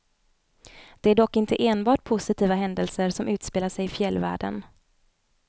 Det är dock inte enbart positiva händelser som utspelar sig i fjällvärden.